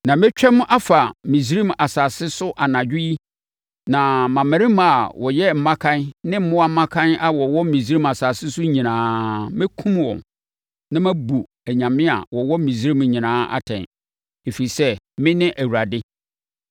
“Na mɛtwam afa Misraim asase so anadwo yi na mmammarima a wɔyɛ mmakan ne mmoa mmakan a wɔwɔ Misraim asase so nyinaa, mɛkum wɔn, na mabu anyame a wɔwɔ Misraim nyinaa atɛn, ɛfiri sɛ, mene Awurade!